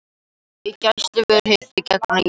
Í gæsluvarðhaldi vegna íkveikju